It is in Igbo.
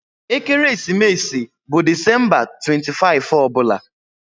Ekeresimesi bụ Disemba 25 ọ bụla